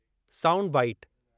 --sound bite-